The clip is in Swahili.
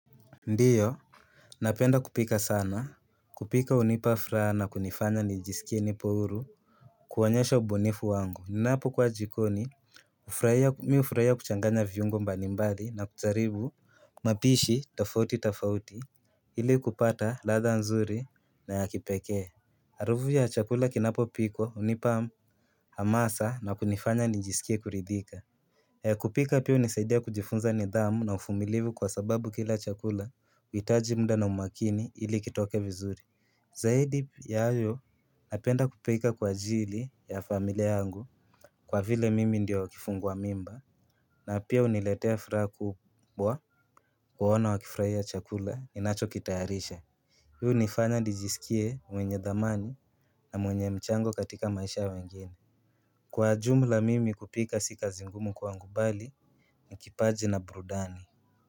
Ndiyo napenda kupika sana kupika hunipa furaha na kunifanya nijisikie nipo huru kuonyesha ubunifu wangu ninapokuwa jikoni mimi hufurahia kuchanganya viungo mbalimbali na kujaribu mapishi tofauti tofauti ili kupata ladha nzuri na ya kipekee harufu ya chakula kinapopilikwa hunipa hamasa na kunifanya nijisikie kuridhika kupika pia hunisaidia kujifunza nidhamu na uvumilivu kwa sababu kila chakula huhitaji muda na umakini ili kitoke vizuri Zaidi ya hayo napenda kupika kwa ajili ya familia yangu kwa vile mimi ndiyo kifungua mimba na pia huniletea furaha kubwa kuwaona wakifurahia chakula ninachokitayarisha Pia hunifanya nijisikie mwenye dhamani na mwenye mchango katika maisha ya wengine Kwa jumla mimi kupika si kazi ngumu bali, ni kipaji na burudani.